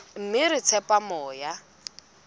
mme re tshepa hore moya